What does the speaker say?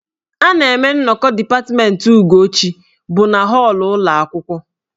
A na-eme nnọkọ dipatmentị Ugochi bụ na họọlụ ụlọ akwụkwọ..